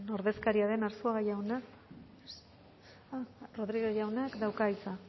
ordezkaria den arzuaga jauna rodriguez jaunak dauka hitza